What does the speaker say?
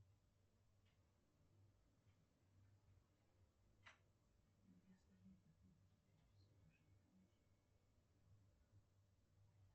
сбер включи блюм